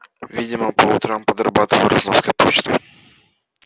видимо по утрам подрабатывал разноской почты